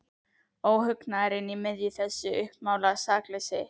Óhugnaðurinn í miðju þessu uppmálaða sakleysi.